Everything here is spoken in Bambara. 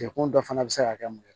Jɛkulu dɔ fana bɛ se ka kɛ mun ye